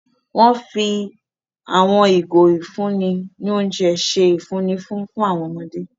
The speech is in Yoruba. Wón fi àwọn ìgò ifunni ni oúnjẹ ṣe ifunni fun awọn ọmọde